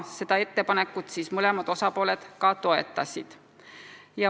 Seda ettepanekut mõlemad osapooled toetasid.